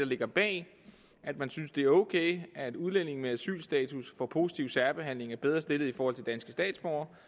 ligger bag at man synes det er ok at udlændinge med asylstatus får positiv særbehandling og er bedre stillet i forhold til danske statsborgere